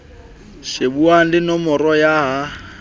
shebuwang le nomoro ya ya